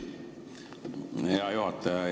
Aitäh, hea juhataja!